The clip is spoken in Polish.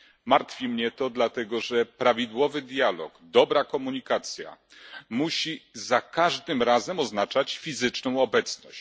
Martwi mnie to, dlatego że prawidłowy dialog, dobra komunikacja musi za każdym razem oznaczać fizyczną obecność.